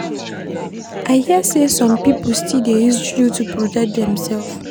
I hear sey some pipo still dey use juju to protect demsef.